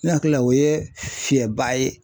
Ne hakili la o ye fiyɛnba ye